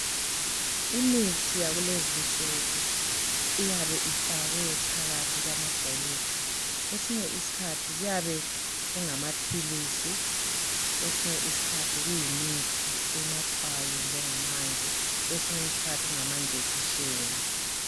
Imithi yakulezinsuku iyabe ifakwe phakathi kwamabhokisi kwesinye isikhathi kuyabe kungamaphilisi kwesinye isikhathi kuyimithi enathwayo kungamanzi kwesinye isikhathi kungama njekisheni